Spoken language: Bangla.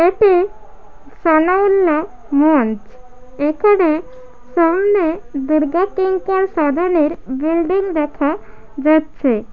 এটি সানাউল্লা মঞ্চ এখানে সামনে সাধনের বিল্ডিং দেখা যা-চ্ছে।